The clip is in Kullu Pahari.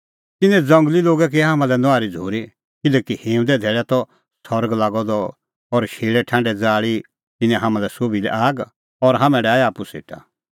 तिन्नैं ज़ंगली लोगै की हाम्हां लै नुआहरी झ़ूरी किल्हैकि हिंऊंदे धैल़ै त सरग लागअ द और शेल़ैठांढै ज़ाल़ी तिन्नैं हाम्हां सोभी लै आग और हाम्हैं डाहै आप्पू सेटा